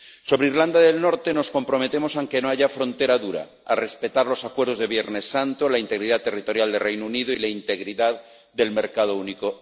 Sobre Irlanda del Norte nos comprometemos, aunque no haya frontera dura, a respetar los Acuerdos de Viernes Santo, la integridad territorial del Reino Unido y la integridad del mercado único.